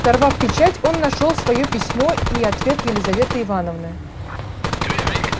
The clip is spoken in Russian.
сорвав печать он нашёл своё письмо и ответ лизаветы ивановны